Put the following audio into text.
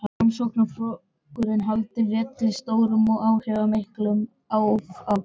Framsóknarflokkurinn haldi velli sem stórt og áhrifamikið stjórnmálaafl.